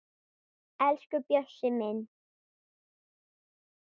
Elsku Bjössi minn.